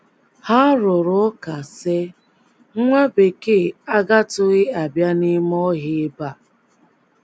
Ha rụrụ ụka, sị, “ Nwa Bekee agatụghị abịa n’ime ọhịa ebe a. ”